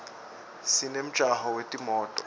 sinemjako wetimoto